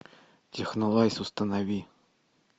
технолайз установи